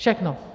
Všechno.